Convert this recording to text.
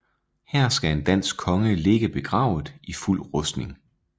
Her skal en dansk konge ligge begravet i fuld rustning